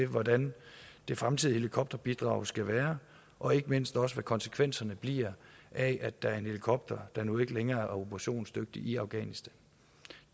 hvordan det fremtidige helikopterbidrag skal være og ikke mindst også om hvad konsekvenserne bliver af at der er en helikopter der nu ikke længere er operationsdygtig i afghanistan